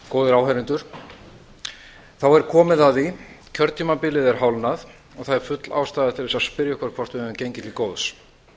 góðir áheyrendur þá er komið að því kjörtímabilið er hálfnað og það er full ástæða til þess að spyrja okkur hvort við höfum gengið til góðs